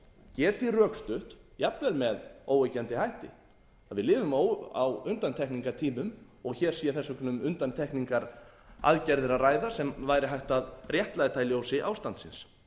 geti rökstutt jafnvel með óyggjandi hætti að við lifum á undantekningartímum og hér sé þess vegna um undantekningaraðgerðir að ræða sem væri hægt að réttlæta í ljósi ástandsins